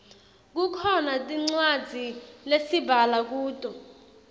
kukhona tincwadzi lesibhala kuto